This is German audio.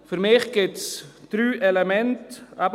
Für mich gibt es drei Elemente.